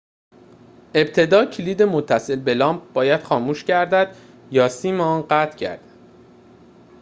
ابتدا کلید متصل به لامپ باید خاموش گردد یا سیم آن قطع گردد